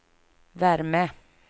värme